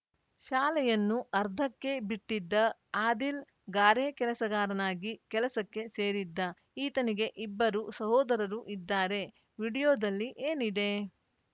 ಶಾಲೆಯನ್ನು ಅರ್ಧಕ್ಕೇ ಬಿಟ್ಟಿದ್ದ ಆದಿಲ್‌ ಗಾರೆಕೆಲಸಗಾರನಾಗಿ ಕೆಲಸಕ್ಕೆ ಸೇರಿದ್ದ ಈತನಿಗೆ ಇಬ್ಬರು ಸಹೋದರರು ಇದ್ದಾರೆ ವಿಡಿಯೋದಲ್ಲಿ ಏನಿದೆ